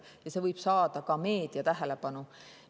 Ja see võib saada ka meedia tähelepanu.